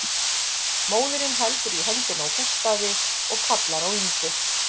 Móðirin heldur í höndina á Gústafi og kallar á Ingu